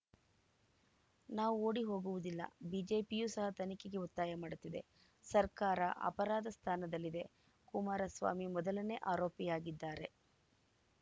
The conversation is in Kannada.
ನಾವು ಓಡಿ ಹೋಗುವುದಿಲ್ಲ ಬಿಜೆಪಿಯೂ ಸಹ ತನಿಖೆಗೆ ಒತ್ತಾಯ ಮಾಡುತ್ತಿದೆ ಸರ್ಕಾರ ಅಪರಾಧ ಸ್ಥಾನದಲ್ಲಿದೆ ಕುಮಾರಸ್ವಾಮಿ ಮೊದಲನೇ ಆರೋಪಿಯಾಗಿದ್ದಾರೆ